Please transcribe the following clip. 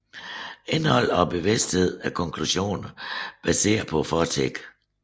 Indholdet af bevidstheden er konklusioner baseret på fortiden